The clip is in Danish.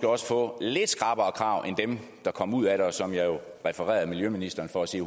også få lidt skrappere krav end dem der kom ud af det og som jeg jo refererede miljøministeren for at sige